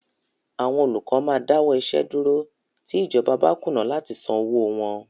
Àwọn olùkọ́ máa dáwọ́ iṣẹ́ dúró tí ìjọba bá kùnà láti san owóo wọn.